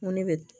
Ŋo ne be